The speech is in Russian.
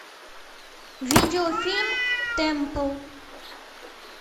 видеофильм темпл